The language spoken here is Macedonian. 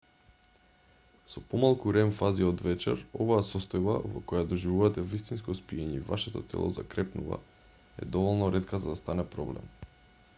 со помалку рем-фази од вечер оваа состојба во која доживувате вистинско спиење и вашето тело закрепнува е доволно ретка за да стане проблем